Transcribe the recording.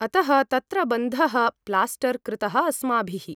अतः तत्र बन्धः प्लास्टर्र कृतः अस्माभिः ।